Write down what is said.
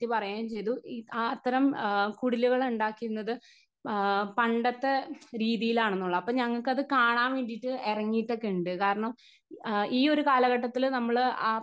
Speaker 1 പറയുകയും ചെയ്തു ആത്തരം കുടിലുകളുണ്ടാക്കുന്നത് ആ പണ്ടത്തെ രീതിയിലാണെന്നുള്ള അപ്പൊ ഞങ്ങൾക്കത് കാണാൻ വേണ്ടിട്ട് ഇറങ്ങിട്ടൊക്കെയുണ്ട്. കാരണം ഈ ഒരു കാലഘട്ടത്തില് നമ്മള് ആ.